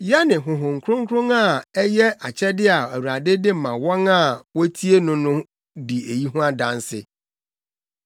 Yɛne Honhom Kronkron a ɛyɛ akyɛde a Awurade de ma wɔn a wotie no no di eyi ho adanse.”